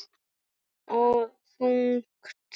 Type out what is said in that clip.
Og þungt.